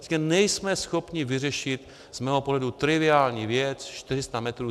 Prostě nejsme schopni vyřešit z mého pohledu triviální věc 400 metrů.